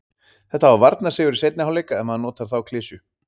Þetta var varnarsigur í seinni hálfleik ef maður notar þá klisju.